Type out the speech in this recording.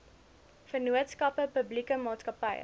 vennootskappe publieke maatskappye